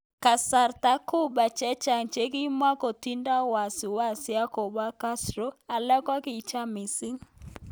Kasarta Cuba chechang chekimukotindo wasisi ak kobo Castro, alak kokicham mising.